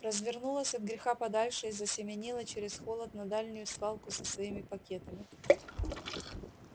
развернулась от греха подальше и засеменила через холод на дальнюю свалку со своими пакетами